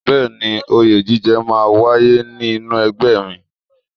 Bẹẹni, oyè jíjẹ máa ń wáyé nínú ẹgbẹ́ mi.